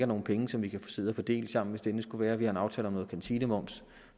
nogle penge som vi kan sidde og fordele sammen hvis det endelig skulle være vi har en aftale om noget kantinemoms